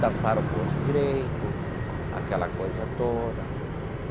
tampar o poço direito, aquela coisa toda.